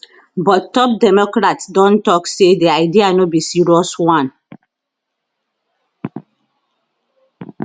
but top democrats don tok say di idea no be serious one